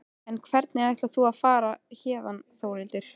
En hvernig ætlar þú að fara héðan Þórhildur?